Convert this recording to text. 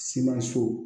Semaso